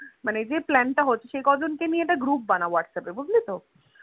মানে এই যে Plan টা হচ্ছে সে কজন কে নিয়ে একটা Group বানা Whatsapp এ বুঝলি তো